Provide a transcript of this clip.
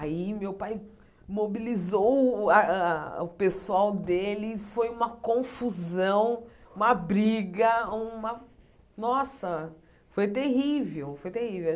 Aí meu pai mobilizou o o a a a o pessoal dele e foi uma confusão, uma briga, uma... Nossa, foi terrível, foi terrível.